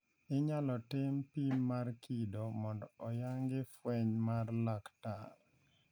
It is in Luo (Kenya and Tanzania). Inyalo tim pim mar kido mondo oyangi fweny mar laktar.